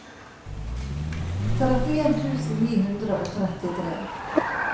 trettien tusen ni hundre og trettitre